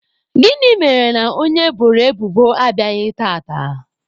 Gịnị mere na onye eboro ebubo abịaghị tata?